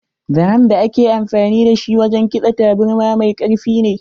Zaren da ake amfani da shi wajen kitsa taburma mai karfi ne.